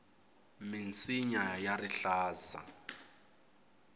minsinya ya rihlaza